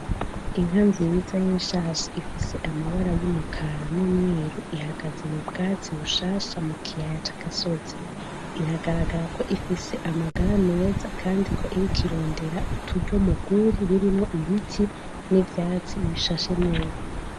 Inka nziza y'ishashi ifise amabara y'umukara n'umweru ihagaze mu bwatsi bushasha mu kiyaya c'agasozi, biragaragarako ifise amagara meza kandiko iriko irondera uturyo mugwuri rurimwo ibiti n'ivyatsi bishasha neza.